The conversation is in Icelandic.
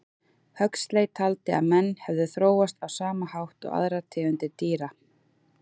Huxley taldi að menn hefðu þróast á sama hátt og aðrar tegundir dýra.